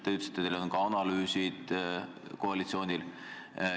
Te ütlesite, et koalitsioonil on analüüsid tehtud.